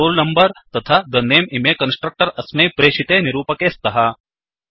the roll numberतथा the name इमे constructor अस्मै प्रेशिते निरूपके स्तः